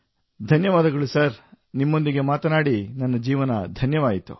ಧನ್ಯವಾದಗಳು ಸರ್ ನಿಮ್ಮೊಂದಿಗೆ ಮಾತನಾಡಿ ನನ್ನ ಜೀವನ ಧನ್ಯವಾಯಿತು